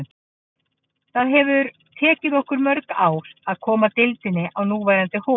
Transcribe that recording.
Það hefði tekið okkur mörg ár að koma deildinni í núverandi horf.